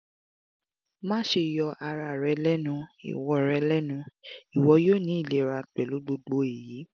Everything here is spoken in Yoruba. maṣe yọ ara rẹ lẹnu iwọ rẹ lẹnu iwọ yoo ni ilera pẹlu gbogbo eyi